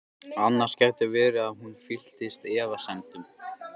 Annars gæti verið að hún fylltist efasemdum.